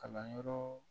Kalanyɔrɔ